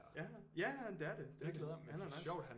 Ja ja ja ja men det er det det glæder jeg mig han er nice